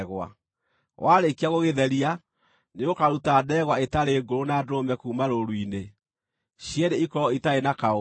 Warĩkia gũgĩtheria, nĩũkaruta ndegwa ĩtarĩ ngũrũ, na ndũrũme kuuma rũũru-inĩ, cierĩ ikorwo itarĩ na kaũũgũ.